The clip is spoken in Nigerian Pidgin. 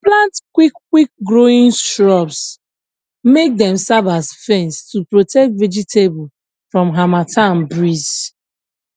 plant quick quick growing shrubs make dem serve as fence to protect vegetable from harmattan breeze